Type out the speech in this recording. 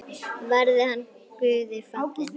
Verði hann Guði falinn.